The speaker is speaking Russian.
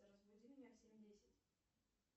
разбуди меня в семь десять